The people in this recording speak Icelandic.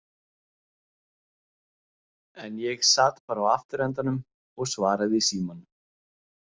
En ég sat bara á afturendanum og svaraði í símann.